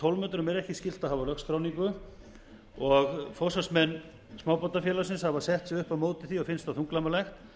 tólf metrum er ekki skylt að hafa lögskráningu og forsvarsmenn smábátafélagsins hafa sett sig upp á móti því og finnst það þunglamalegt